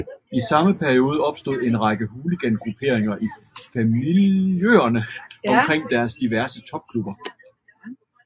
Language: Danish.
I samme periode opstod en række hooligangrupperinger i fanmiljøerne omkring diverse topklubber